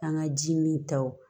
An ka ji min taw